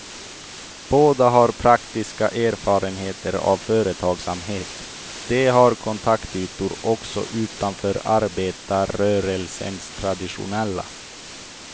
Båda har praktiska erfarenheter av företagsamhet, de har kontaktytor också utanför arbetarrörelsens traditionella.